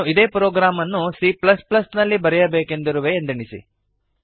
ನಾನು ಇದೇ ಪ್ರೋಗ್ರಾಮ್ ಅನ್ನು c ನಲ್ಲಿಬರೆಯಬೇಕೆಂದಿರುವೆ ಎಂದೆಣಿಸಿ